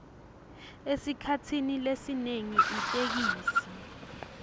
esikhatsini lesinyenti itheksthi